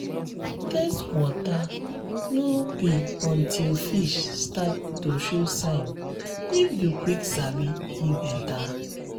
test water no be until fish start to show sign if you quick sabi e better